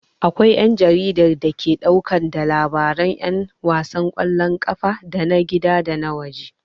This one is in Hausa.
Akwai jaridar da ke ɗauke da labaran 'yan wasan ƙwallon kafa na gida da waje.